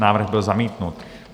Návrh byl zamítnut.